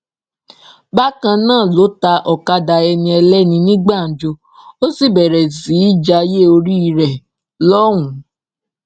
bákan náà ló ta ọkadà ẹniẹlẹni ní gbàǹjo ó sì bẹrẹ sí í jayé orí ẹ lọhùnún